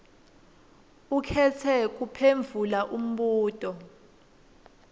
ukhetse kuphendvula umbuto